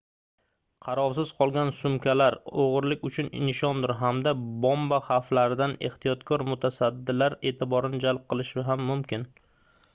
qarovsiz qolgan sumkalar oʻgʻirlik uchun nishondir hamda bomba xavflaridan ehtiyotkor mutasaddilar eʼtiborini jalb qilishi ham mumkin